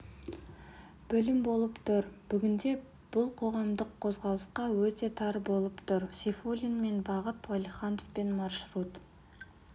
бөлім болып тұр бүгінде бұл қоғамдық қозғалысқа өте тар болып тұр сейфуллинмен бағыт уәлихановпен маршрут